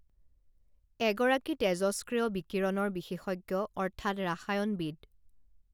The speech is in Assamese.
এগৰাকী তেজষ্ক্ৰিয় বিকিৰণৰ বিশেষজ্ঞ অৰ্থাৎ ৰাসায়নবিদ